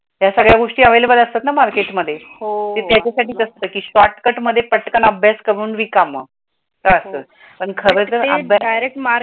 त्या सगळ्या गोष्टी available असतात ना मार्केटमध्ये त्यातेचसाडी असतात के शॉर्टकट मध्ये अभ्यास करून रीकाम तर अस, पण खर जर